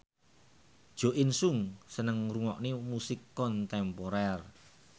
Jo In Sung seneng ngrungokne musik kontemporer